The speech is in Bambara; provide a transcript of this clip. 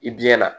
I biyɛn na